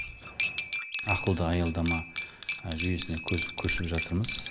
ақылды аялдама жүйесіне көшіп жатырмыз